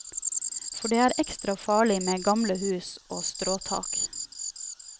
For det er ekstra farlig med gamle hus og stråtak.